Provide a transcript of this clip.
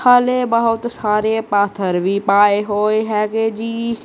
ਹਾਲੇ ਬਹੁਤ ਸਾਰੇ ਪਾਥਰ ਵੀ ਪਾਏ ਹੋਏ ਹੈਗੇ ਜੀ।